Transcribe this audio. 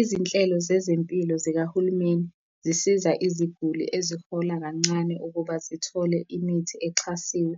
Izinhlelo zezempilo zikahulumeni zisiza iziguli ezihola kancane ukuba zithole imithi exhasiwe,